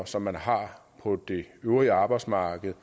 som man har på det øvrige arbejdsmarked